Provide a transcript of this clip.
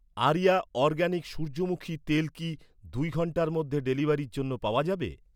Area organic সূর্যমুখী তেল কি দুই ঘন্টার মধ্যে ডেলিভারির জন্য পাওয়া যাবে?